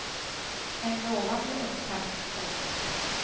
En lovande upptakt, påstås det.